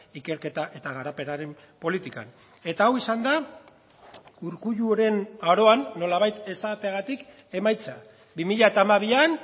ikerketa eta garapenaren politikan eta hau izan da urkulluren aroan nolabait esateagatik emaitza bi mila hamabian